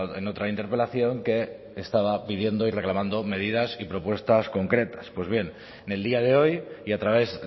en otra interpelación que estaba pidiendo y reclamando medidas y propuestas concretas pues bien en el día de hoy y a través